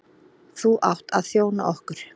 Þú átt að þjóna okkur.